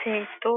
সেই তো